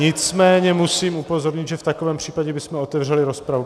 Nicméně musím upozornit, že v takovém případě bychom otevřeli rozpravu.